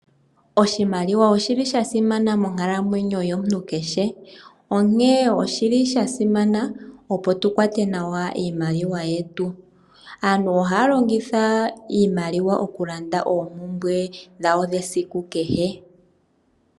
Oshimaliwa oshili shasimana monkalamwenyo yomuntu keshe onkee oshili shasimana opo tukwate nawa iimaliwa yetu. Aantu ohaya longitha iimaliwa okulanda oompumbwe dhawo dhesiku kehe.